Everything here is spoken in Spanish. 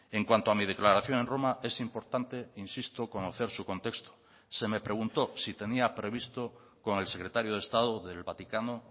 en cuanto a mi declaración en roma es importante insisto conocer su contexto se me preguntó si tenía previsto con el secretario de estado del vaticano